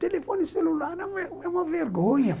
Telefone celular é uma uma vergonha.